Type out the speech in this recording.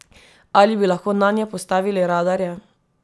Ali bi lahko nanje postavili radarje?